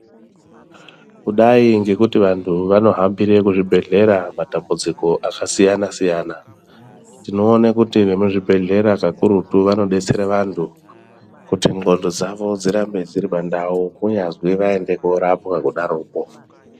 Kudai ngekuti vantu vanofambire kuzvibhedhlera matambudziko akasiyana-siyana. Tinoone kuti vemuzvibhedhlera kakurutu vanobetsera vantu kuti ndxondo dzavo dzirambe dziri pandau kunyazwi vaende korapwa kudaroko.